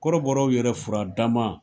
Kɔrɔbɔw yɛrɛ furadama